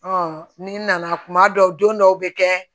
ni nana kuma dɔw don don dɔw bɛ kɛ